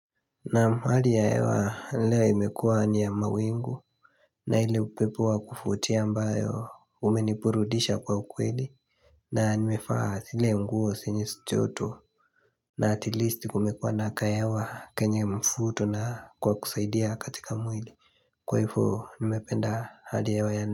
Naam hali ya hewa leo imekua ni ya mawingu na ile upepo wa kufutia ambayo umenipurudisha kwa ukweli na nimefaa sile nguo sinyeschoto na atilisti kumekua naka ewa kenye mfuto na ka kusaidia katika mwili Kwa ifo nimependa hali ya hewa ya.